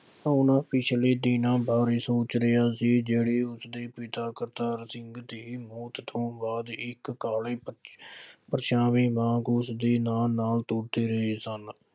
ਉਹਨਾ ਪਿਛਲੇ ਦਿਨ ਬਾਰੇ ਸੋਚ ਰਿਹਾ ਸੀ। ਜਿਹੜੇ ਉਸਦੇ ਪਿਤਾ ਕਰਤਾਰ ਸਿੰਘ ਦੇ ਮੌਤ ਤੋਂ ਬਾਅਦ ਇੱਕ ਕਾਲੇ ਪਰਛਾਵੇ ਵਾਂਗ ਉਸਦੇ ਨਾਲ ਨਾਲ ਤੁਰਦੇ ਰਹੇ ਸਨ।